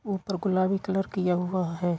ऊपर गुलाबी कलर किया हुआ है।